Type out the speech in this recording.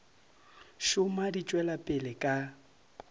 šoma di tšwela pele ka